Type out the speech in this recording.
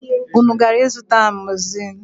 Unu gara ịzụta amọzisilin?